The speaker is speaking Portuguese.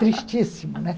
Tristíssimo, né?